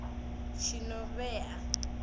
tshinovhea